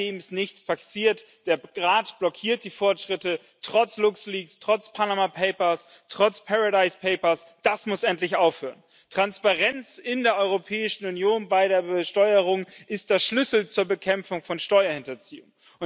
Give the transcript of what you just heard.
Seitdem ist nichts passiert, der Rat blockiert die Fortschritte, trotz Luxleaks, trotz Panama Papers, trotz Paradise Papers. Das muss endlich aufhören! Transparenz in der Europäischen Union bei der Besteuerung ist der Schlüssel zur Bekämpfung von Steuerhinterziehung.